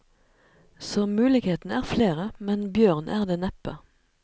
Så mulighetene er flere, men bjørn er det neppe.